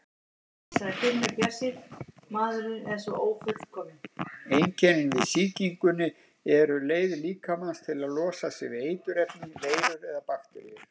Einkennin við sýkingunni eru leið líkamans til að losa sig við eiturefni, veirur eða bakteríur.